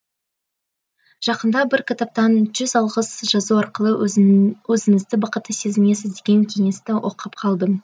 жақында бір кітаптан жүз алғыс жазу арқылы өзіңізді бақытты сезінесіз деген кеңесті оқып қалдым